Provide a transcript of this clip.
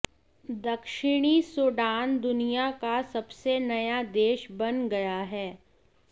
दक्षिणी सूडान दुनिया का सबसे नया देश बन गया है